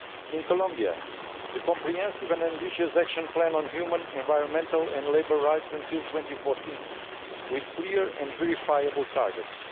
in Colombia the comprehensive and ambitious action plan on human, environmental and labour rights up to 2014, with clear and verifiable targets